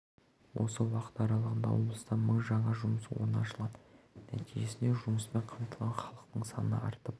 осы уақыт аралығында облыста мың жаңа жұмыс орны ашылған нәтижесінде жұмыспен қамтылған халықтың саны артып